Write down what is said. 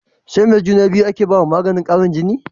SAi me juna biyu ake bawa maganin Karin jini